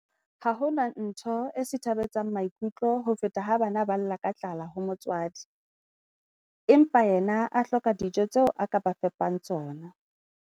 Ha ho ntho e sithabetsang maikutlo ho feta ha bana ba lla ka tlala ho motswadi, empa yena a hloka dijo tseo a ka ba fepang tsona.